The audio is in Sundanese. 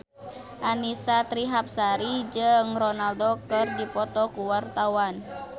Annisa Trihapsari jeung Ronaldo keur dipoto ku wartawan